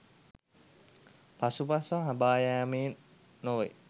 පසුපස හඹායෑම නොවේ